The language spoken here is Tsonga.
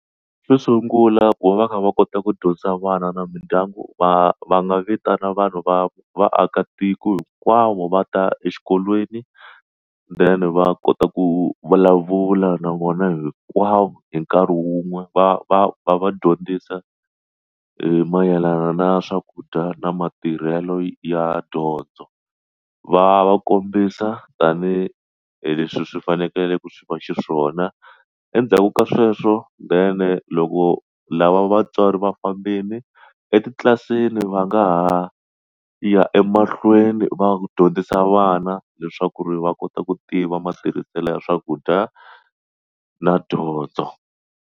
Xo sungula ku va va kha va kota ku dyondza vana na mindyangu va va nga vitana vanhu va vaakatiko hinkwavo va ta exikolweni then va kota ku vulavula na vona hinkwavo hi nkarhi wun'we va va va va dyondzisa mayelana na swakudya na matirhelo ya dyondzo va va kombisa tanihi hi leswi swi fanekele ku swi va xiswona endzhaku ka sweswo then loko lava vatswari va fambile etitlilasini va nga ha ya emahlweni va dyondzisa vana leswaku ri va kota ku tiva matirhiselo ya swakudya na dyondzo.